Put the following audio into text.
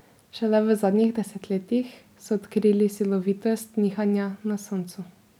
Šele v zadnjih desetletjih so odkrili silovitost nihanja na Soncu.